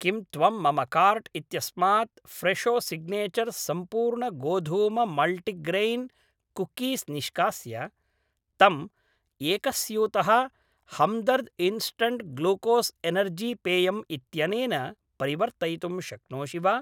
किं त्वं मम कार्ट् इत्यस्मात् फ्रेशो सिग्नेचर् सम्पूर्णगोधूममल्टिग्रैन् कुक्कीस् निष्कास्य तं एकस्यूतः हम्दर्द् इन्स्टण्ट् ग्लूकोस् एनर्जी पेयम् इत्यनेन परिवर्तयितुं शक्नोषि वा